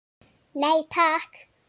Nei, takk!